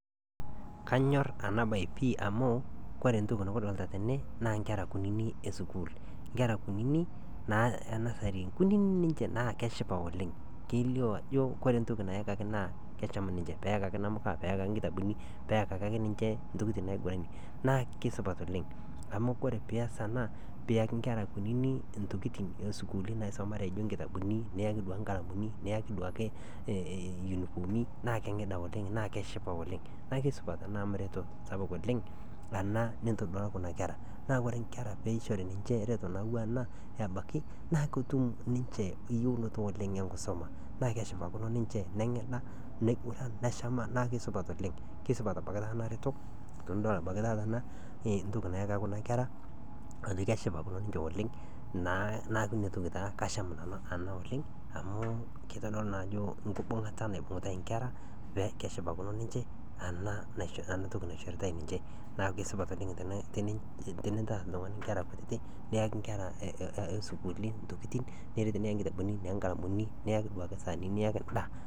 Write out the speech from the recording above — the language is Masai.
Kanyor enabae amu kore entoki nikidolita tene naa ingera esukuul, ngera kunyinyi e nursery naa kunini ninje naa keshipa oleng nelio ajo ore entoki nayakai naa kesham ninje etiu enaa nkitabuni peeyakaki ninje ntokiting naigiranie naa kesipat oleng amu orake pias ena piyaki ngera kunini ntokiting naisumare naijo nkitabuni niyaku duake nkalamuni, niyaki duake yunifomi naa kenginda oleng naa keshipa oleng' Naa kesupat amu reto sapuk oleng ena nitodola kuna kera, naa ore nkeera teneishori ninje ereto naijo ena abaki naa ketum ninche eyieunoto oleng engisuma naa kesipakino ninche neng'ida niguran neshamu naa kisupat oleng tenidol ebaki taata ena toki nayaka kuna kera ajo keshipa pih naa naa inatoki asham nanu oleng amu kitodolu naa ajo engibungata naibungitai ingera peekeshipakino ninche anaa entoki naishoritai ninche neeku kesupat oleng tenintar oltungani ingera kutiti niyakiungera osuluuli ntokiting niret niyaki inkitabuni niyaki inkalamuni niyaki duake isaanini